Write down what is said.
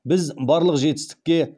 біз барлық жетістікке